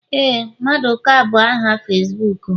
Éè maduka bu aha Facibuku m